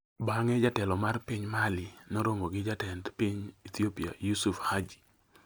Bang'e jatelo mar piny Mali noromo gi Jatend Piny Ethiopia Yusu Hadji